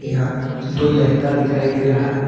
यहां दो लहंगा दिखाई दे रहा है।